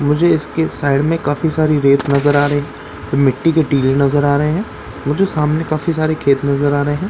मुझे इसके साइड में काफी सारी रेत नजर आ रही मिट्टी के टीले नजर आ रहे हैं मुझे सामने काफी सारे खेत नजर आ रहे--